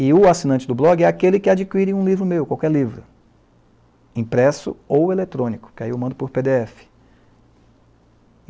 E o assinante do blog é aquele que adquire um livro meu, qualquer livro, impresso ou eletrônico, que aí eu mando por pê dê efe.